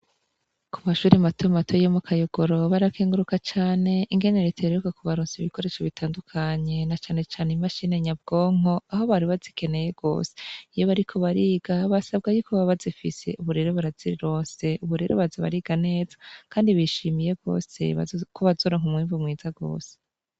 ku mashuri mato mato yo mu Kayogoro, barakenguruka cane ingene Leta iheruka kubaronsa ibikoresho bitandukanye ,na cane cane imashini nyabwonko aho bari bazikeneye gose ,iyo bariko bariga basabwa yuko baba bazifise ubu rero barazironse ,ubu rero baza bariga neza kandi bishimiye gose ko bazoronk ‘umwimvu mwiza gose.